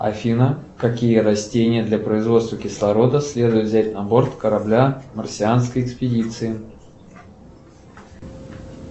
афина какие растения для производства кислорода следует взять на борт корабля марсианской экспедиции